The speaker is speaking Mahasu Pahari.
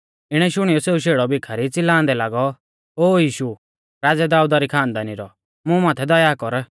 इणै शुणियौ सेऊ शेड़ौ भीखारी च़िलांदै लागौ ओ यीशु राज़ै दाऊदा री खानदानी रौ मुं माथै दया कर